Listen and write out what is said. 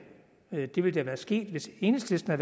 det ville være sket hvis enhedslisten